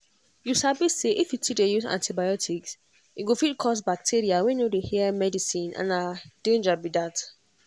you sabi say if you too dey use antibiotics e go fit cause bacteria wey no dey hear medicine and na danger be that.